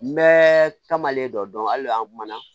N bɛɛ taamalen dɔ dɔn hali an kumana